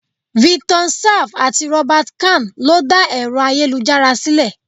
Vinton Cerf àti Robert Khan lo dá Ẹ̀rọ ayélujára sílè.